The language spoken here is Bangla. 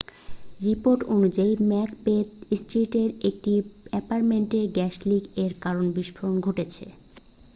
রিপোর্ট অনুযায়ী ম্যাকবেথ স্ট্রীটের একটি অ্যাপারট্মেন্টে গ্যাস লিক এর কারনে বিস্ফোরণ ঘটেছে